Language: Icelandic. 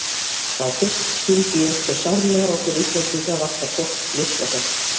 Þá fyrst skildi ég hve sárlega okkur Íslendinga vantar gott listasafn.